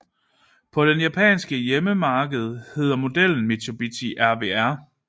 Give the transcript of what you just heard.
På det japanske hjemmemarked hed modellen Mitsubishi RVR